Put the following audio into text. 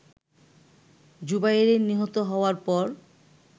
জুবায়ের নিহত হওয়ার পর